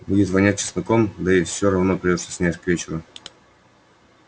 будет вонять чесноком да и все равно придётся снять к вечеру